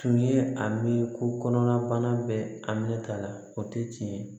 Tun ye a miiri ko kɔnɔnabana bɛɛ a minɛ t'a la o tɛ tiɲɛ ye